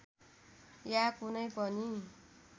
या कुनै पनि